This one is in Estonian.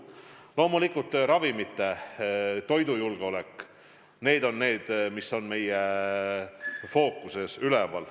Loomulikult, ravimite ja toidujulgeolek – ka need on meie fookuses.